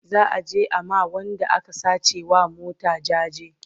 za'a je a ma Wanda aka sace wa mota jaje